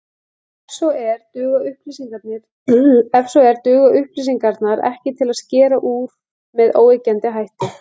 Ef svo er, duga upplýsingarnar ekki til að skera úr með óyggjandi hætti.